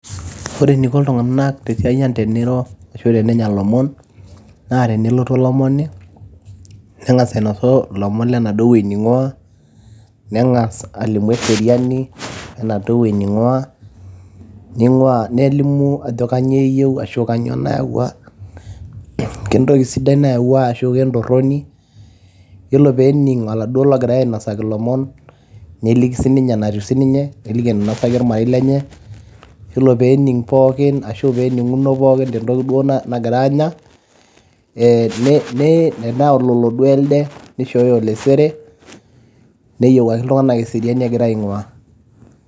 Ore eneiko iltunganak tesiai ang' teniro ashu tenenya ilomon, naa tenelotu olomoni neng'as ainosu ilomon lenaduoo wueji ning'waa, neng'as alimu eseriani lenaduoo wueji ning'waa, nelimu ajo kainyioo nayawua. Kentoki sidai nayawua ashu kentorroni. Yiolo peening' oladuoo logirae ainosaki ilomon neliki sininye enatiu sininye, neliki enatiu ormarei lenye. yiolo peening' pookin ashu pening'uno pookin tentoki duo nagira aanya.